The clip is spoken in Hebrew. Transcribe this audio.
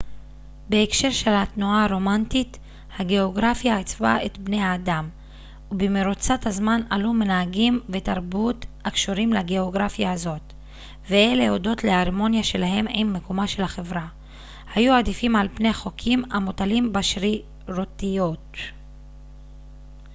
בהקשר של התנועה הרומנטית הגאוגרפיה עיצבה את בני האדם ובמרוצת הזמן עלו מנהגים ותרבות הקשורים לגאוגרפיה הזאת ואלה הודות להרמוניה שלהם עם מקומה של החברה היו עדיפים על-פני חוקים המוטלים בשרירותיות